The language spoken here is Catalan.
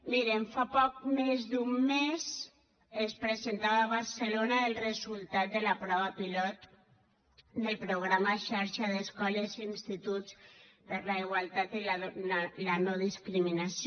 mirin fa poc més d’un mes es presentava a barcelona el resultat de la prova pilot del programa xarxa d’escoles i instituts per la igualtat de tracte i la no discriminació